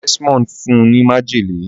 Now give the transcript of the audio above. Desmond fún ní májèlé.